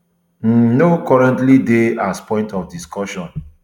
um no currently dey as point of discussion